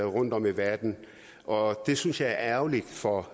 rundtom i verden og det synes jeg er ærgerligt for